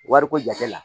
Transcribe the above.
Wariko jate la